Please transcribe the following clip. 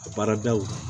A baaradaw la